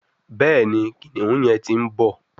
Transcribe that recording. Béèni kìnìún yén tí ń bó.